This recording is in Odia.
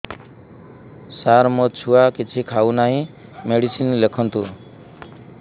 ସାର ମୋ ଛୁଆ କିଛି ଖାଉ ନାହିଁ ମେଡିସିନ ଲେଖନ୍ତୁ